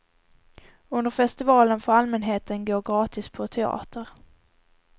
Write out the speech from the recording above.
Under festivalen får allmänheten gå gratis på teater.